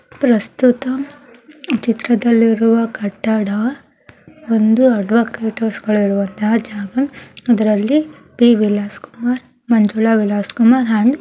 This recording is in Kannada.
ಪ್ರಸ್ತುತ ಈ ಚಿತ್ರದಲ್ಲಿರುವ ಕಟ್ಟಡ ಒಂದು ಅಡ್ವೋಕೇಟ್ಸ್ ಗಳ ಇರುವಂತಹ ಜಾಗ ಇದರಲ್ಲಿ ಪಿ ವಿಲಾಸಕುಮಾರ್ ಮಂಜುಳಾ ವಿಲಾಸಕುಮಾರ್ ಹಾಗೂ --